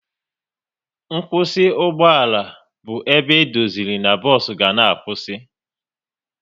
Nkwụsị ugboala bụ ebe edoziri n'bos ga na-akwụsị